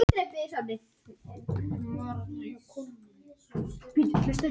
Óvenjumikið sót myndast við brunann í þessum bíl.